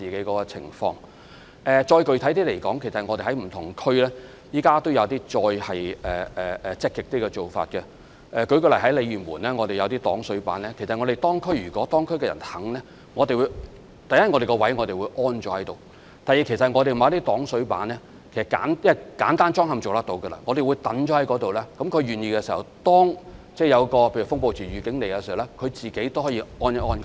具體一點地說，我們現時在不同地區也有一些更積極的做法，例如在鯉魚門便設有一些擋水板，如果當區居民願意，第一，我們是會安裝在指定位置；第二，這些擋水板只須簡單安裝，所以，我們會把它們放置在區內，如果居民願意，例如當發出風暴潮預警時，他們便可以自行安裝。